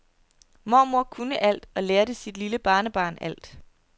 Mormor kunne alt og lærte sit lille barnebarn alt.